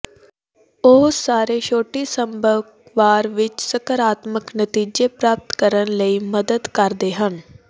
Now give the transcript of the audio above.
ਉਹ ਸਾਰੇ ਛੋਟੀ ਸੰਭਵ ਵਾਰ ਵਿੱਚ ਸਕਾਰਾਤਮਕ ਨਤੀਜੇ ਪ੍ਰਾਪਤ ਕਰਨ ਲਈ ਮਦਦ ਕਰਦੇ ਹਨ